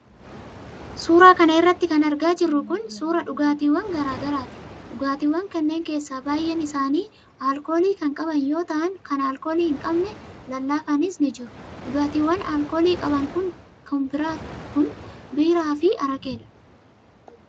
Suura kana irratti kan argaa jirru kun, suura dhugaatiiwwan garaa garaati. Dhugaatiiwwan kanneen keessa baay'een isaanii alkoolii kan qaban yoo ta'an, kan alkoolii hin qabne lallaafaanis ni jiru. Dhugaatiiwwan alkoolii qaban kun biiraa fi araqeedha.